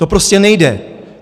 To prostě nejde.